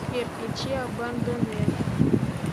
сбер включи абандонед